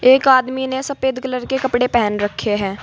एक आदमी ने सफेद कलर के कपड़े पहन रखे हैं।